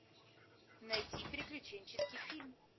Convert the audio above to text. найди приключенческий фильм